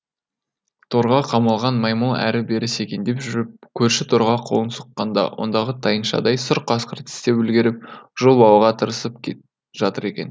торға қамалған маймыл әрі бері секеңдеп жүріп көрші торға қолын сұққанда ондағы тайыншадай сұр қасқыр тістеп үлгеріп жұлып алуға тырысып жатыр екен